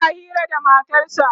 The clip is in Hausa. suna Hira da matarsa